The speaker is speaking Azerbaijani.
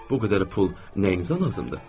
Bu qədər pul nəyinizə lazımdır?